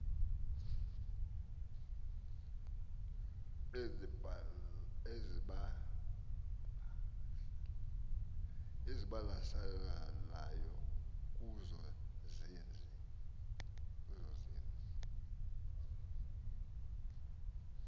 ezibalaseleyo kuzo zezi